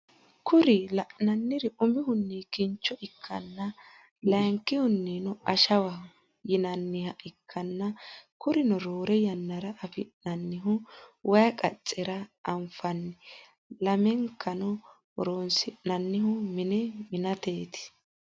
Kuri lananiri umihunni kinnicho ikana layinikihunino ashshwaho yinaniha ikana kurino rorre yanara afinannihu wayi qacherra afinani lamenikano horonisinannihu mine minateti.